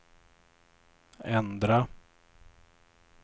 ändra